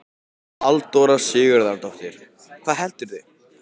Halldóra Sigurðardóttir: Hvað heldurðu?